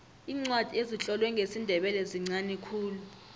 iincwadi ezitlolwe ngesindebele zinqani khulu